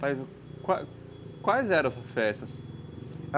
Mas quais quais eram essas festas?